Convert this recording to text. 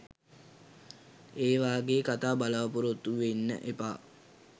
ඒ වගේ කතා බලාපොරොත්තු වෙන්න එපා.